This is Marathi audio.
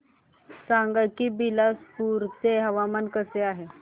सांगा की बिलासपुर चे हवामान कसे आहे